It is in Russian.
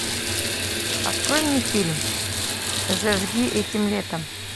открой мне фильм зажги этим летом